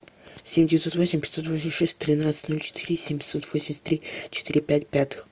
семь девятьсот восемь пятьсот восемьдесят шесть тринадцать ноль четыре семьсот восемьдесят три четыре пять пятых